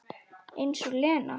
Eins og Lena!